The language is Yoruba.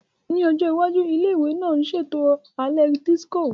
Ní ọjọ́ iwájú, ilé ìwé náà ń ṣètò alẹ́ dísíkò